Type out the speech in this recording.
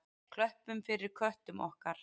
Klöppum fyrir köttum okkar!